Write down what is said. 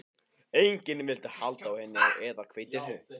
Enginn vildi halda á henni eða hveitinu.